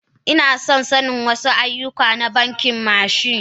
Inason wasu aiyuka na banki merchant.